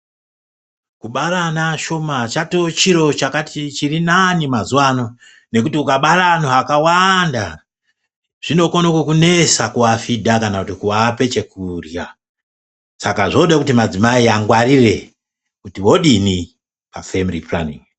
Kubara ana ashona chatova chiro chirinani mazuva ano nekuti ukabara antu akawanda zvinokone kukunesa kuafidha kana kuti kuape chekurya. Saka zvoda kuti madzimai angwarire kuti vodini pafemiri puranin'i.